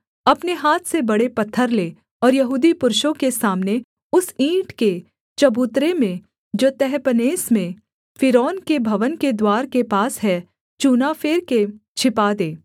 अपने हाथ से बड़े पत्थर ले और यहूदी पुरुषों के सामने उस ईंट के चबूतरे में जो तहपन्हेस में फ़िरौन के भवन के द्वार के पास है चूना फेर के छिपा दे